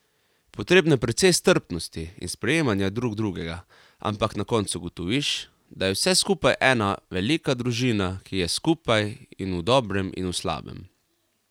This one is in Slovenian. Potrebno je precej strpnosti in sprejemanja drug drugega, ampak na koncu ugotoviš, da je vse skupaj ena velika družina, ki je skupaj in v dobrem in v slabem.